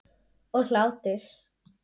Og hlátur.